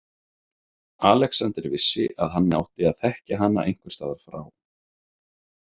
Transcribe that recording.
Alexander vissi að hann átti að þekkja hana einhvers staðar frá.